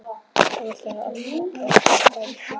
Þá var allt á kafi í snjó.